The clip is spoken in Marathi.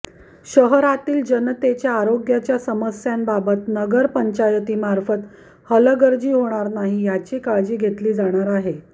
शहरातील जनतेच्या आरोग्याच्या समस्यांबाबत नगरपंचायतीमार्फत हलगर्जी होणार नाही याची काळजी घेतली जाणार आहे